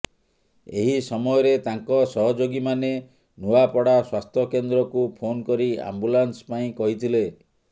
ଏହି ସମୟରେ ତାଙ୍କ ସହଯୋଗୀ ମାନେ ନୂଆପଡ଼ା ସ୍ବାସ୍ଥ୍ୟ କେନ୍ଦ୍ରକୁ ଫୋନ୍ କରି ଆମ୍ବୁଲାନ୍ସ ପାଇଁ କହିଥିଲେ